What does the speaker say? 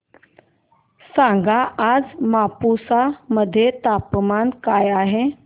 सांगा आज मापुसा मध्ये तापमान काय आहे